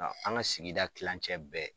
Ɔ an ka sigida kilencɛ bɛɛ